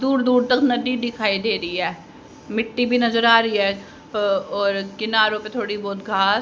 दूर दूर तक नडी दिखाई दे री है मिट्टी भी नजर आ री है अ और किनारों पे थोड़ी बहुत घास --